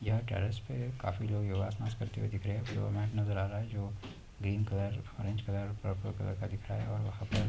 यह टेरेस पे काफी लोग योग आसनआस करते हुए दिख रहे हैं। डोर मैट नजर आ रहा है जो green colour orange colour purple colour का दिख रहा है और वहां पर --